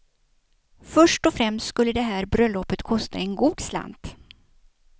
Först och främst skulle det här bröllopet kosta en god slant.